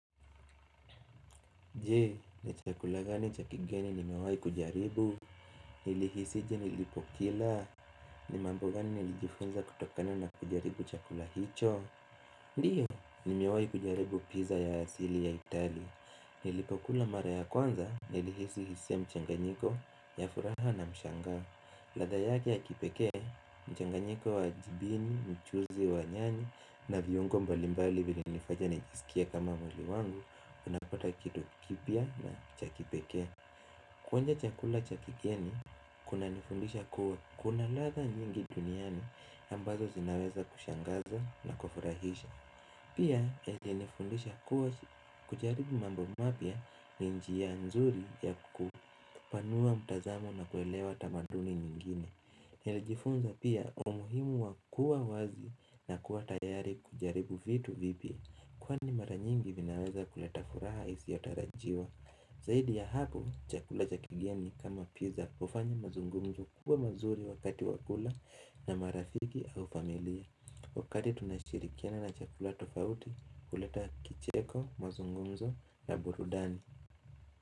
Je, ni chakula gani cha kigeni nimewahi kujaribu, nilihisije nilipokila, ni mambo gani nilijifunza kutokana na kujaribu chakula hicho Ndiyo, nimewahi kujaribu pizza ya asili ya Itali, nilipokula mara ya kwanza, nilihisi hisia mchanganyiko, ya furaha na mshangao ladha yake ya kipekee, mchanganyiko wa jibini, mchuzi wa nyanyi na viungo mbalimbali vilinifanya nijisikie kama muli wangu unapata kito kipia na chakipeke Kuonja chakula cha kigeni, kunanifundisha kuwa kuna ladha nyingi duniani ambazo zinaweza kushangaza na kufurahisha Pia, ilinifundisha kuwa kujaribu mambo mapya ni njia nzuri yakupanua mtazamo na kuelewa tamaduni nyingine Nilijifunza pia umuhimu wa kuwa wazi na kuwa tayari kujaribu vitu vipi Kwani mara nyingi vinaweza kuleta furaha isiyotarajiwa Zaidi ya hapo, chakula cha kigeni kama pizza ufanya mazungumzo kuwa mazuri wakati wa kula na marafiki au familia Wakati tunashirikiana na chakula tofauti kuleta kicheko, mazungumzo na burudani.